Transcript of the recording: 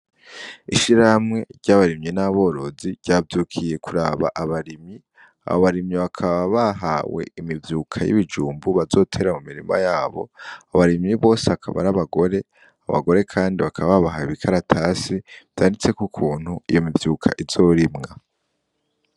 Ishirahamwe ry’abarimyi n’aborozi ryavyukiye kuraba abarimyi. Abo barimyi bakaba bahawe imivyuka y’ibijumbu bazotera mu mirima yabo, abo barimyi bose bakaba ar’abagore, abagore kandi bakaba babahaye ibi karatasi vyanditseko ukuntu iyo mivyuka izorimwa